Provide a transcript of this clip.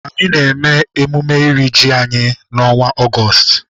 anyị na-eme emume iri ji anyị n'ọnwa Ọgọọst.